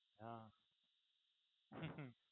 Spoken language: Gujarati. હાં હમ્મ હમ્મ